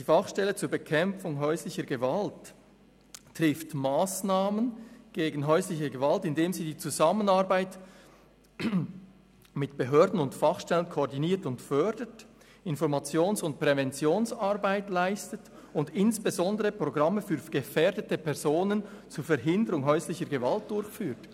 «Die Fachstelle zur Bekämpfung häuslicher Gewalt trifft Massnahmen gegen häusliche Gewalt, indem sie die Zusammenarbeit mit Behörden und Fachpersonen koordiniert und fördert, Informations- und Präventionsarbeit leistet und insbesondere Programme für gefährdende Personen zur Verhinderung häuslicher Gewalt durchführt.